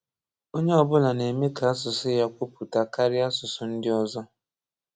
onye ọbụla na-eme ka asụsụ ya kwụpụta karịa asụsụ ndị ọzo